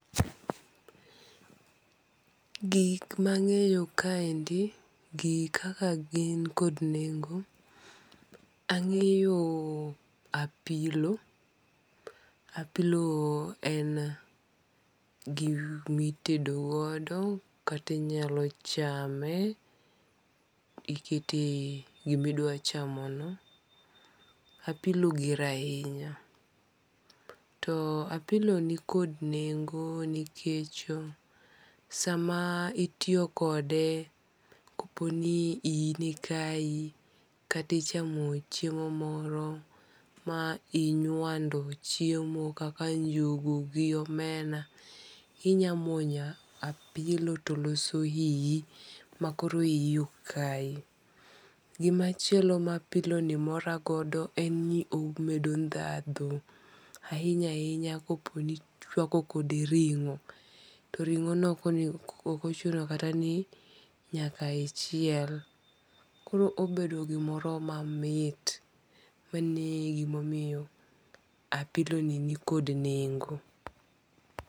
Gik mang'eyo ka endi gik kaka gin kod nengo, ang'eyo apilo. Apilo en gir mitedo godo kata inyalo chame. Ikete gimidwa chamono. Apilo ger ahinya. To apilo ni kod neng'o nikech sama itiyokode kopo ni iyi ne kayi katichamo chiemo moro ma inywando chiemo kaka njugu gi omena, kinya mwonyo apilo to loso iyi ma koro iyi ok kayi. Gimachielo ma apilo ni mora godo en ni omedo dhadho ahinya ahinya kapo ni ichwako kode ring'o to ring'o no ok ochuno kata ni nyaka ichiel. Koro obedo gimoro mamit. Mane e gimomiyo apilo ni ni kod nengo.